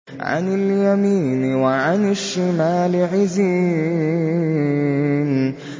عَنِ الْيَمِينِ وَعَنِ الشِّمَالِ عِزِينَ